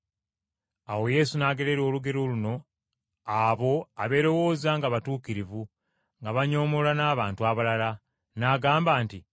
Awo Yesu n’agerera olugero luno abo abeerowooza nga batuukirivu nga banyoomoola n’abantu abalala, n’agamba nti,